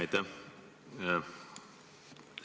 Aitäh!